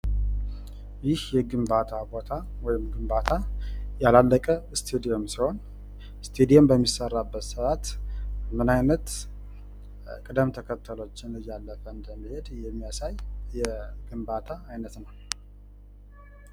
ይህ የግንባታ ቦታ ወይም ግንባታ ያላለቀ እስታዲየም ሲሆን እስታዲየም በሚሰራበት ሰዓት ምን አይነት ቅደም ተከተሎችን እያለፈ እንደሚሄድ የሚያሳይ የግንባታ አይነት ነው ።